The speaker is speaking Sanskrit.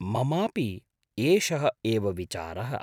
ममापि एषः एव विचारः।